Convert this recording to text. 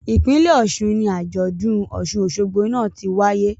Ipinlẹ Ọ̀ṣun ni ajọdun Òṣun-ósogbó náa ti waye Festival was held in Osun state.